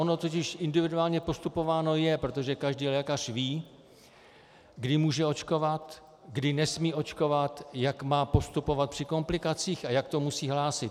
Ono totiž individuálně postupováno je, protože každý lékař ví, kdy může očkovat, kdy nesmí očkovat, jak má postupovat při komplikacích a jak to musí hlásit.